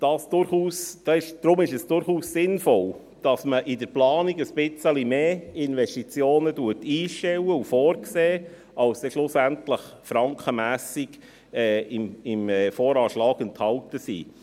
Deshalb ist es durchaus sinnvoll, dass man in der Planung etwas mehr Investitionen einstellt und vorsieht, als schlussendlich frankenmässig im VA enthalten sind.